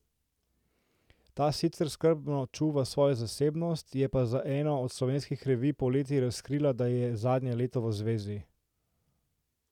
Ta sicer skrbno čuva svojo zasebnost, je pa za eno od slovenskih revij poleti razkrila, da je zadnje leto v zvezi.